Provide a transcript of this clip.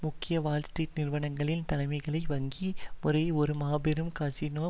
முக்கிய வால்ஸ்ட்ரீட் நிறுவனங்களின் தலைமைகளை வங்கி முறையை ஒரு மாபெரும் கசினோ